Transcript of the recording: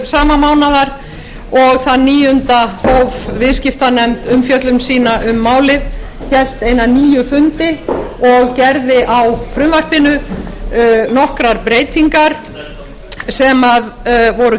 sama mánaðar og þann níunda hóf viðskiptanefnd umfjöllun um málið hélt eina níu fundi og gerði á frumvarpinu nokkrar breytingar sem voru